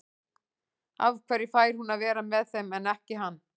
Af hverju fær hún að vera með þeim en ekki hann?